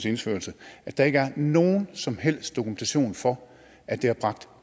indførelse er der ikke nogen som helst dokumentation for at det har bragt